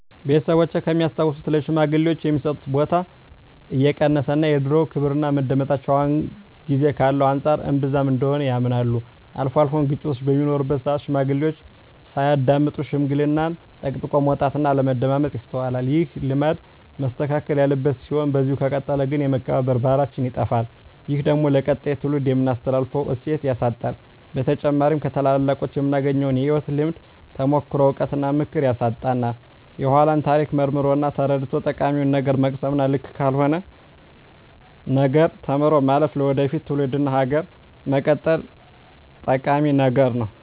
ቤተሰቦቼ ከሚያስታውሱት ለሽማግሌወች የሚሰጣቸው ቦታ እንደቀነሰ እና የድሮው ክብርና መደመጣቸው አሁን ጊዜ ካለው አንፃር እንብዛም እንደሆነ ያምናሉ። አልፎ አልፎም ግጭቶች በሚኖሩበት ስአት ሽማግሌዎችን ሳያዳምጡ ሽምግልናን ጠቅጥቆ መውጣት እና አለማዳመጥ ይስተዋላል። ይህ ልማድ መስተካከል ያለበት ሲሆን በዚህ ከቀጠለ ግን የመከባበር ባህላችን ይጠፋል። ይህ ደግሞ ለቀጣይ ትውልድ የምናስተላልፈውን እሴት ያሳጣናል። በተጨማሪም ከታላላቆቹ የምናገኘውን የህይወት ልምድ፣ ተሞክሮ፣ እውቀት እና ምክር ያሳጣናል። የኃላን ታሪክ መርምሮ እና ተረድቶ ጠቃሚውን ነገር መቅሰም እና ልክ ካልሆነው ነገር ተምሮ ማለፍ ለወደፊት ትውልድ እና ሀገር መቀጠል ጠቂሚ ነገር ነው።